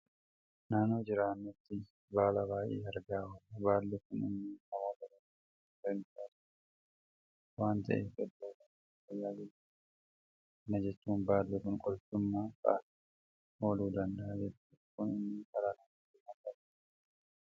Naannoo jiraannutti baala baay'ee argaa oolla. Baalli kun immoo namoota baay'eedhaaf warreen faayidaa laatan waanta ta'eef iddoo baay'eetti tajaajila guddaa kennu. Kana jechuun baalli kun qorichummaa fa'aatiif ooluu danda'a jechuudha. Kun immoo dhala namaatiif waanta baay'ee barbaachisaadha.